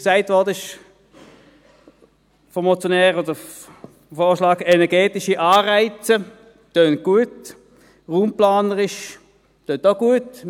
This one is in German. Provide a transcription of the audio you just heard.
Der vom Motionär erwähnte Vorschlag von energetischen Anreizen klingt gut, klingt auch raumplanerisch gut.